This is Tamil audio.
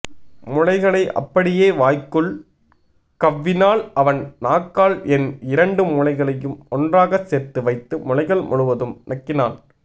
முலைகளை அப்படியே வாய்க்குள் கவ்வினான் அவன் நாக்கால் என் இரண்டு முலைகளையும் ஒன்றாக சேர்த்து வைத்து முலைகள் முழுவதும் நக்கினான்